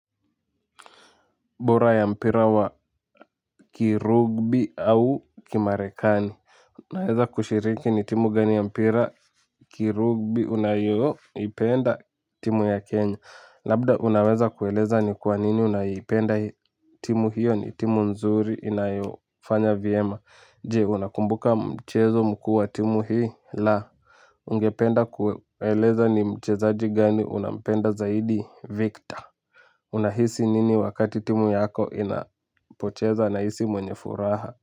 Bora ya mpira wa kirugby au kimarekani. Unaweza kushiriki ni timu gani ya mpira kirugbi unayoipenda timu ya Kenya. Labda unaweza kueleza ni kwa nini unaipenda timu hiyo ni timu nzuri inayofanya vyema. Je unakumbuka mchezo mkuu wa timu hii la ningependa kueleza ni mchezaji gani unampenda zaidi, Victor, unahisi nini wakati timu yako inapocheza, nahisi mwenye furaha.